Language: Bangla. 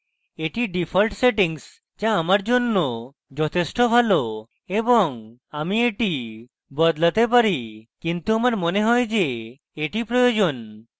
এটি ডিফল্ট সেটিংস যা আমার জন্য যথেষ্ট ভালো এবং আমি এটি বদলাতে পারি কিন্তু আমার মনে হয় যে এটি প্রয়োজন